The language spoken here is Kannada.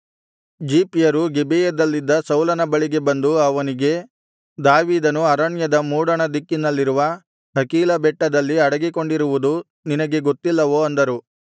ಜೀಫ್ಯರು ಗಿಬೆಯದಲ್ಲಿದ್ದ ಸೌಲನ ಬಳಿಗೆ ಬಂದು ಅವನಿಗೆ ದಾವೀದನು ಅರಣ್ಯದ ಮೂಡಣ ದಿಕ್ಕಿನಲ್ಲಿರುವ ಹಕೀಲಾ ಬೆಟ್ಟದಲ್ಲಿ ಅಡಗಿಕೊಂಡಿರುವುದು ನಿನಗೆ ಗೊತ್ತಿಲ್ಲವೋ ಅಂದರು